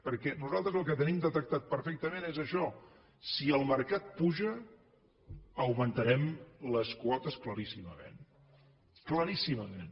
perquè nosaltres el que tenim detectat perfectament és això si el mercat puja augmentarem les quotes claríssimament claríssimament